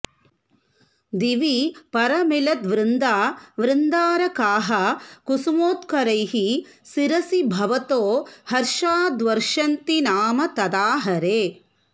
दिवि परमिलद्वृन्दा वृन्दारकाः कुसुमोत्करैः शिरसि भवतो हर्षाद्वर्षन्ति नाम तदा हरे